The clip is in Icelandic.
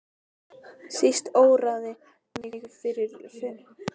Síst óraði mig fyrir flækjunum sem af þessu ráðabralli leiddi.